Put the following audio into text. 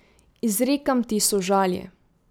Izrekam ti sožalje.